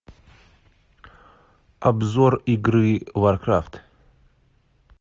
обзор игры варкрафт